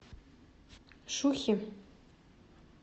шухи